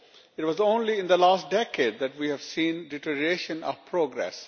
It was only in the last decade that we have seen the deterioration of progress.